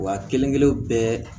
Wa kelen kelen bɛɛ